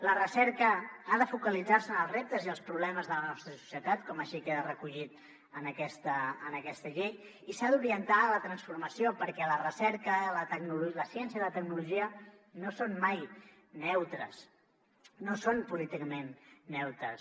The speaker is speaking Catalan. la recerca ha de focalitzar se en els reptes i els problemes de la nostra societat com així queda recollit en aquesta llei i s’ha d’orientar a la transformació perquè la recerca la ciència i la tecnologia no són mai neutres no són políticament neutres